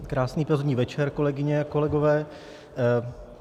Krásný pozdní večer, kolegyně a kolegové.